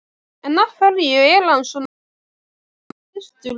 En af hverju er hann svona góður við systur sína?